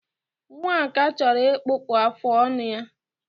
Nwaka chọrọ ịkpụpụ afụ ọnụ ya.